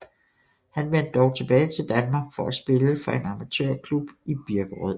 Han vendte dog tilbage til Danmark for at spille for en amatørklub i Birkerød